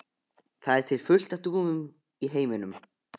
Það er til fullt af dúfum í heiminum.